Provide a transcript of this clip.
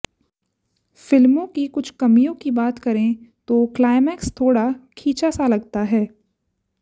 film की कुछ कमियों की बात करें तो क्लाइमेक्स थोड़ा खिंचा सा लगता है